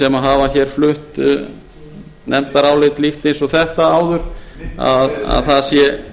sem hafa flutt nefndarálit líkt eins og þetta áður það sé